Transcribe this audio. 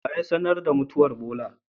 Waya sanar da mutuwan Bola?